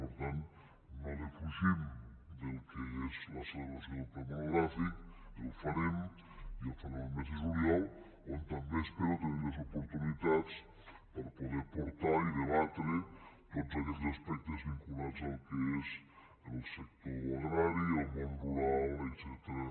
per tant no defugim el que és la celebració del ple monogràfic el farem i el farem el mes de juliol on també espero tenir les oportunitats per a poder portar i debatre tots aquells aspectes vinculats al que és el sector agrari el món rural etcètera